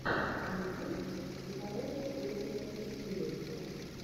ютюб психология третьего тысячелетия